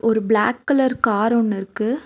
ஒரு black colour car ஒன்னுருக்கு.